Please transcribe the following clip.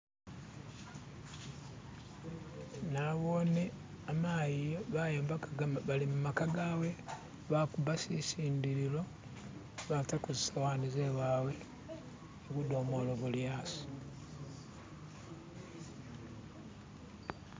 nabone a mayi bayombaka balimumaka gawe bakuba sitindililo batako zisowani zewawe budomolo buli asi